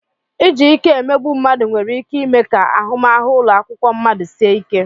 Iji ike emegbu mmadụ nwere ike ime ka ahụmahụ ụlọ akwụkwọ mmadụ sie ike.